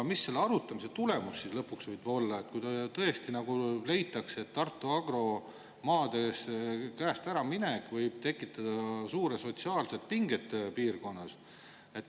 Mis selle arutamise tulemus lõpuks võib olla, kui tõesti leitakse, et Tartu Agro maade äraminek nende käest võib tekitada suured sotsiaalsed pinged piirkonnas?